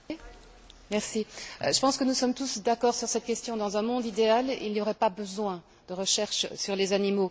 Monsieur le Président, je pense que nous sommes tous d'accord sur cette question dans un monde idéal il n'y aurait pas besoin de recherches sur les animaux.